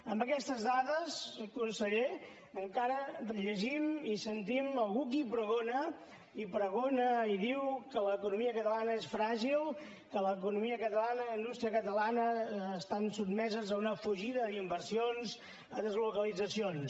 amb aquestes dades conseller encara llegim i sentim algú qui pregona i pregona i diu que l’economia catalana és fràgil que l’economia catalana i la indústria catalana estan sotmeses a una fugida d’inversions a deslocalitzacions